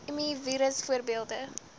mi virus voorbeelde